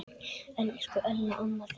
Elsku Ella amma mín.